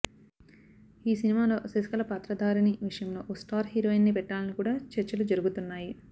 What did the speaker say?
ఈ సినిమాలో శశికళ పాత్రధారిణి విషయంలో ఓ స్టార్ హీరోయిన్ ని పెట్టాలని కూడా చర్చలు జరుగుతున్నాయి